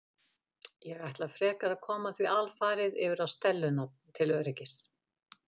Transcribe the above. Ég ætla frekar að koma því alfarið yfir á Stellu nafn til öryggis.